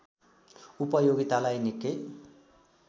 उपयोगितालाई निक्कै